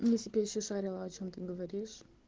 если бы я ещё шарила о чём ты говоришь